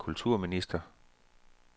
kulturminister